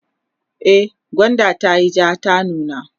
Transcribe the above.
e gwandan tayi jaa ta nuna